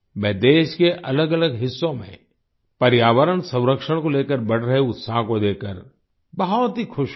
मैं देश के अलगअलग हिस्सों में पर्यावरण संरक्षण को लेकर बढ़ रहे उत्साह को देखकर बहुत ही खुश हूँ